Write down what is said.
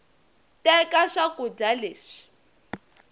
teka swakuda leswi